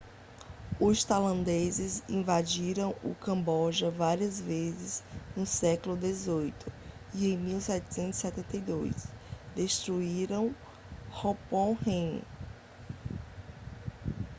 os tailandeses invadiram o camboja várias vezes no século 18 e em 1772 destruíram phnom phen